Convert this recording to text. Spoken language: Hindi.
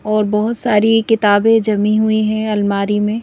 और बहुत सारी किताबें जमी हुई हैं अलमारी में।